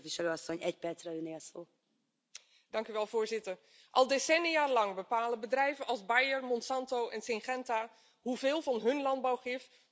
Voorzitter, al decennialang bepalen bedrijven als Bayer, Monsanto en Syngenta hoeveel van hun landbouwgif op onze akkers, velden en voedsel terechtkomt.